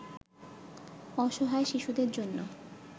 অসহায় শিশুদের জন্য